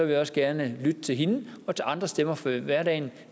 jeg også gerne lytte til hende og til andre stemmer fra hverdagen